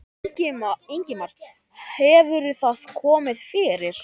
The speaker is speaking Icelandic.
Ingimar: Hefur það komið fyrir?